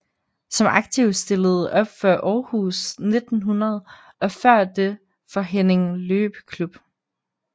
Som aktiv stillede op for Aarhus 1900 og før det for Herning Løbeklub